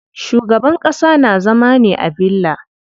Shugaban ƙasa na zama ne a villa.